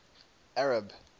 arab